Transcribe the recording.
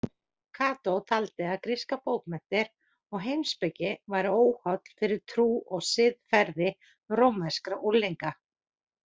Kató taldi að grískar bókmenntir og heimspeki væru óholl fyrir trú og siðferði rómverskra unglinga.